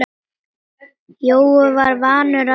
Jói var vanur að vera.